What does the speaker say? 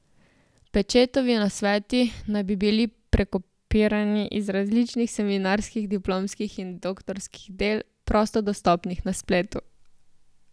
Pečetovi nasveti naj bi bili prekopirani iz različnih seminarskih, diplomskih in doktorskih del, prosto dostopnih na spletu.